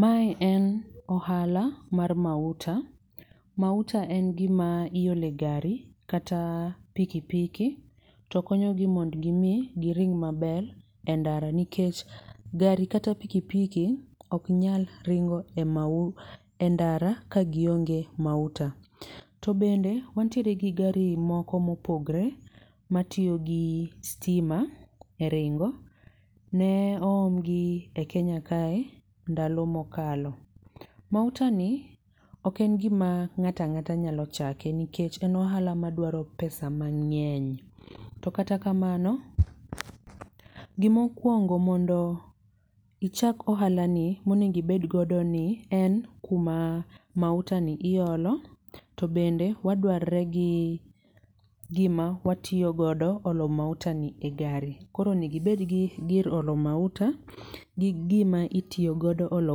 Mae en ohala mar mauta, mauta en gima iolo e gari kata piki piki to konyo gi mondo giring maber endara nikech gari kata piki piki ok nyal ringo e mau e ndara kagionge mauta. To bende wantiere gi gari moko mopogre matiyo gi sitima eringo, ne oom gi e Kenya kae endalo mokalo. Mauta ni ok en gima ng'ato ang'ata nyalo chako nikech en ohala madwaro pesa mang'eny. To kata kamano, gimokuongo mondo ichak ohala ni monego ibed godo ni en kuma mautani iolo to bende waduarre gi gima watiyo godo olo mautani e gari. Koro onego ibed gi gir olo mauta gi gima itiyo godo olo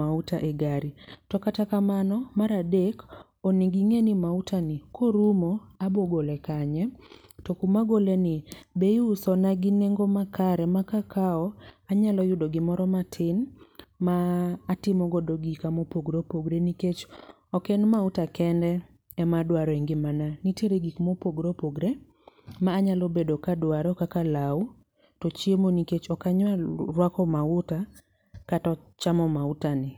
mauta egari. To kata kamano, mar adek onego ing'e ni mautani korumo abiro gole kanye, to kuma agoleni be iusona gi nengo makare ma kakawo to anyalo yudo gimoro matin ma atimo godo gika mopogore opogore nikech ok en mauta kende ema aduaro e ngimana. Nitiere gik mopogore opogore ma anyalo bedo ka adwaro kaka law to chiemo nikech ok anyal ruako mauta kata chamo mautani.